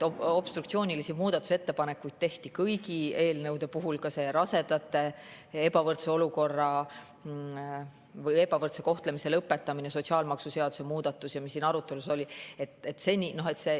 Obstruktsioonilisi muudatusettepanekuid tehti kõigi eelnõude puhul, ka rasedate ebavõrdse olukorra, ebavõrdse kohtlemise lõpetamise ja sotsiaalmaksuseaduse muudatuste kohta, mis siin arutelu all olid.